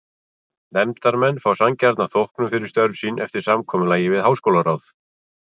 Nefndarmenn fái sanngjarna þóknun fyrir störf sín eftir samkomulagi við háskólaráð.